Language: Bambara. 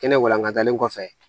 Kɛnɛ walankatalen kɔfɛ